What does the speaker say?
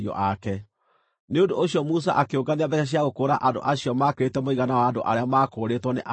Nĩ ũndũ ũcio Musa akĩũngania mbeeca cia gũkũũra andũ acio maakĩrĩte mũigana wa andũ arĩa maakũũrĩtwo nĩ Alawii.